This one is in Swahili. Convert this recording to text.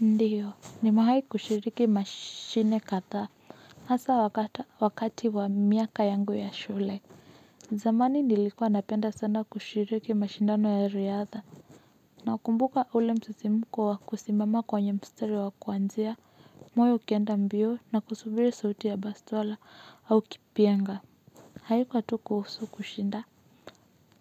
Ndiyo nimewai kushiriki mashine kadha hasa wakati wa miaka yangu ya shule zamani nilikuwa napenda sana kushiriki mashindano ya riadha nakumbuka ule msisimko wa kusimama kwenye mstari wa kuanzia moyo ukienda mbio na kusubiri sauti ya bastola au kipyenga haikuwa tu kuhusu kushinda